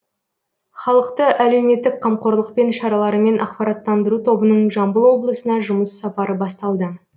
халықты әлеуметтік қамқорлықпен шараларымен ақпараттандыру тобының жамбыл облысына жұмыс сапары басталды